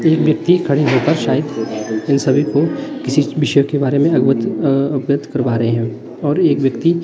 एक व्यक्ती खड़े होकर शायद इन सभी को किसी विषय के बारे में अवगत अं अवगत करवा रहे हैं और एक व्यक्ती--